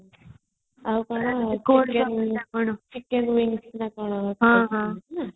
ଆଉ କ'ଣ ହଁ